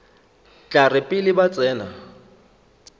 tla re pele ba tsena